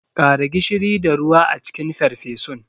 Kara gishiri da ruwa a cikin farfesun.